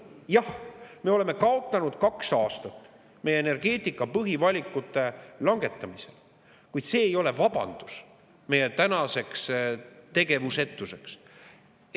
Jah, me oleme kaotanud kaks aastat meie energeetika põhivalikute langetamisel, kuid see ei ole vabandus meie tänaseks tegevusetuseks.